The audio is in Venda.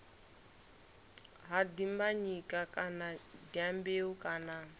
ha dimbanyika kana dyambeu kana